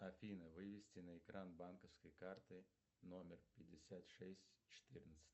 афина вывести на экран банковской карты номер пятьдесят шесть четырнадцать